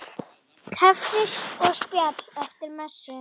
Kaffi og spjall eftir messu.